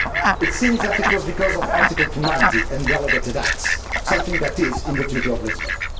It seems that it was because of Article 290 and delegated acts something which is in the Treaty of Lisbon.